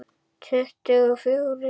Tuttugu og fjórir.